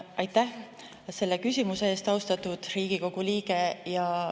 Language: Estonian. Aitäh selle küsimuse eest, austatud Riigikogu liige!